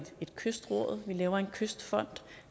et kystråd og en kystfond